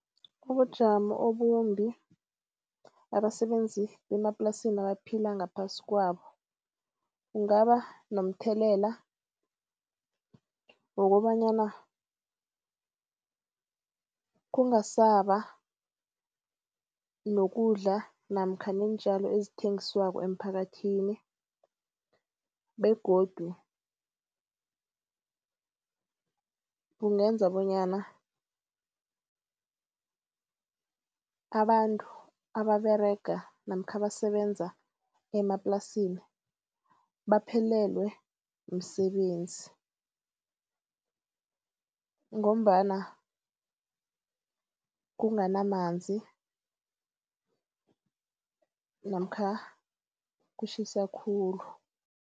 Ubujamo obumbi abasebenzi bemaplasini abaphila ngaphasi kwabo kungaba nomthelela wokobanyana kungasaba nokudla namkha neentjalo ezithengiswa emphakathini begodu kungenza bonyana abantu ababerega namkha abasebenza emaplasini baphelelwe msebenzi ngombana kunganamanzi namkha kutjhisa khulu.